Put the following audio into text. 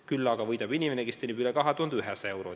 Küll aga võidab inimene, kes teenib üle 2100 euro.